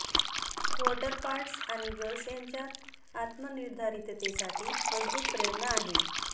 water parts आणि gulls यांच्यात आत्मनिर्धारिततेसाठी मजबूत प्रेरणा आहे